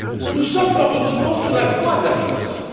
Nous sommes, fort heureusement, sur la voie de l'affirmation.